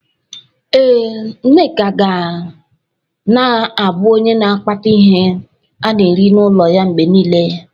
Ee, Nneka ga na-abụ onye na akpata ihe ana-eri n'ụlọ ya mgbe niile.